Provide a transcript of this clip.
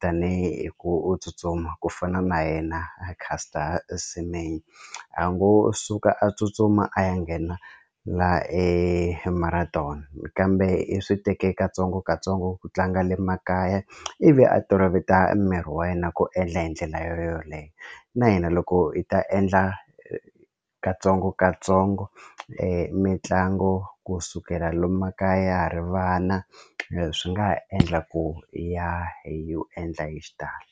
tanihi ku u tsutsuma ku fana na yena a Caster Semenya a ngo suka a tsutsuma a ya nghena la marathon kambe i swi teke katsongokatsongo ku tlanga le makaya ivi a toloveta miri wa yena ku endla hi ndlela yoleyo na hina loko hi ta endla katsongokatsongo mitlangu kusukela lomu makaya ya ha ri vana swi nga ha endla ku ya hi wu endla hi xitalo.